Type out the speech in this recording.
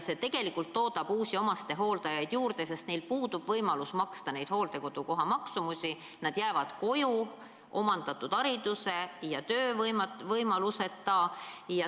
See tegelikult toodab uusi omastehooldajaid juurde, sest neil puudub võimalus maksta neid hooldekodukoha tasusid, nad jäävad omandatud haridusega ja töövõimaluseta koju.